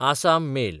Assam mail